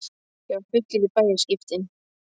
Ég var fullur í bæði skiptin.